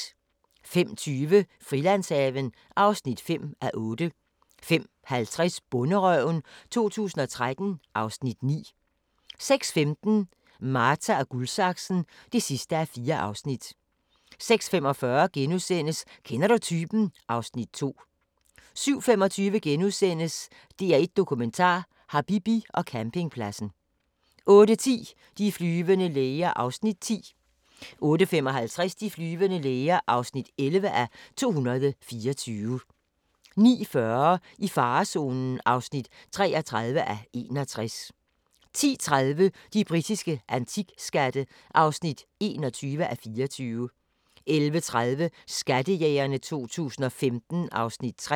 05:20: Frilandshaven (5:8) 05:50: Bonderøven 2013 (Afs. 9) 06:15: Marta & Guldsaksen (4:4) 06:45: Kender du typen? (Afs. 2)* 07:25: DR1 Dokumentar: Habibi og campingpladsen * 08:10: De flyvende læger (10:224) 08:55: De flyvende læger (11:224) 09:40: I farezonen (33:61) 10:30: De britiske antikskatte (21:24) 11:30: Skattejægerne 2015 (Afs. 3)